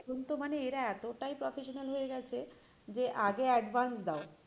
এখন তো মানে এরা এতটাই professional হয়ে গেছে যে আগে advance দাও,